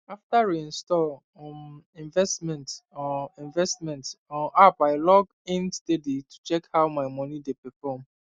after reinstall um investment um investment um app i log in steady to check how my money dey perform